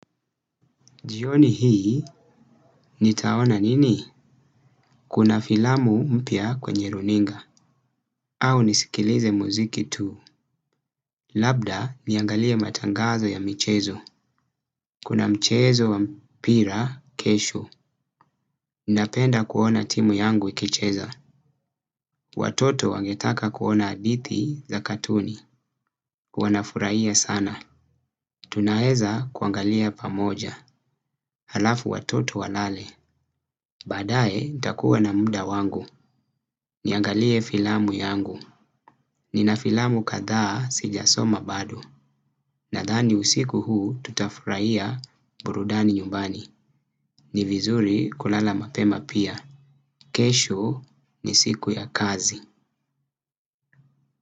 Jioni hii, nitaona nini? Kuna filamu mpya kwenye runinga. Au nisikilize muziki tu. Labda, niangalia matangazo ya michezo. Kuna mchezo wa mpira, kesho. Ninapenda kuona timu yangu ikicheza. Watoto wangetaka kuona hadithi za katuni. Wanafuraia sana. Tunaweza kuangalia pamoja. Halafu watoto walale. Baadae, nitakuwa na muda wangu. Niangalie filamu yangu. Nina filamu kadhaa sijasoma bado. Nadhani usiku huu tutafurahia burudani nyumbani. Ni vizuri kulala mapema pia. Kesho ni siku ya kazi.